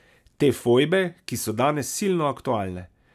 Te fojbe, ki so danes silno aktualne.